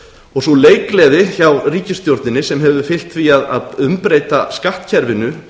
og sú leikgleði hjá ríkisstjórninni sem hefur fylgt því að um breyta skattkerfinu